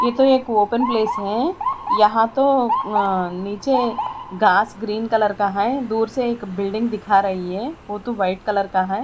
ये तो एक ओपेन प्लेस है यहां तो अ नीचे घास ग्रीन कलर का है दूर से एक बिल्डिंग दिखा रही है वो तो वाइट कलर का है।